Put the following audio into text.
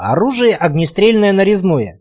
оружие огнестрельное нарезное